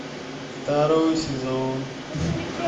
второй сезон